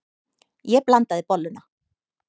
Ég blandaði bolluna.